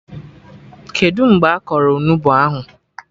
Kedụ mgbe a kọrọ Onugbu ahụ?